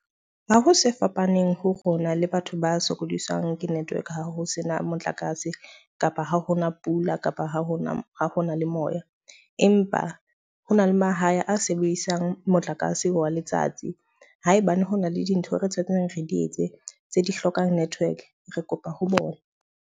Ha ho se fapaneng ho rona le batho ba sokodisang ke network ha ho sena motlakase, kapa ha ho na pula, kapa ha ho na ho na le moya. Empa hona le mahae a sebedisang motlakase wa letsatsi. Haebane ho na le dintho re tshwaetsanang re di etse tse di hlokang network, re kopa ho bona.